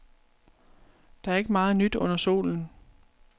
Der er ikke meget nyt under solen.